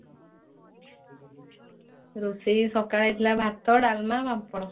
ରୋଷେଇ ସକାଳେ ହେଇଥିଲା ଭାତ ଡାଲମା ପାମ୍ପଡ।